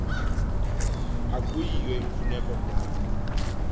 akuyiyo imfuneko na